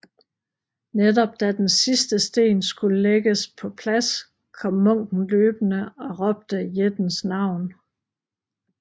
Netop da den sidste sten skulle lægges på plads kom munken løbende og råbte jættens navn